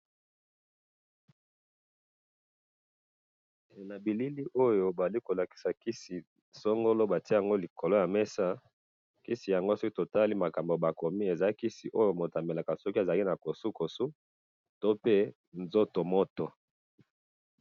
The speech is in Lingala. na bilili oyo bazali kolakisa kisi songolo batiye yango likolo ya mesa kisi yango soki totali biloko bakomi eza misi oyo moto amelaka soki azali na kosokoso pe soki azali na nzoto moto